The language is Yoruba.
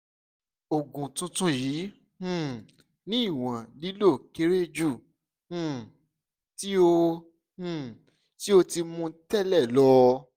oògùn tuntun yii um ni iwọn lilo kere ju um ti o um ti o ti mu tẹlẹ lọ